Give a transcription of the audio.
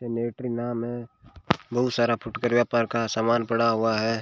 नेरीना में है बहुत सारा फुकरेया पर का समान पड़ा हुआ है।